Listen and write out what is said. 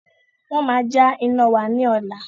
Wọn má ja iná wá ní ọ̀la